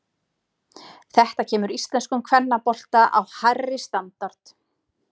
Þetta kemur íslenskum kvennabolta á hærri standard.